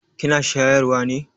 Kina shayarwa ne?